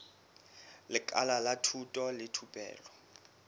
lekala la thuto le thupelo